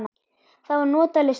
Það var notaleg stund.